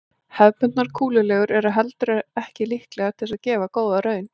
Hefðbundnar kúlulegur eru heldur ekki líklegar til þess að gefa góða raun.